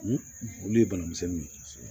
Olu ye banamisɛnninw ye